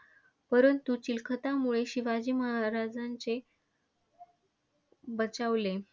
परंतु चिलखतामुळे शिवाजी महाराजांचे बचावले.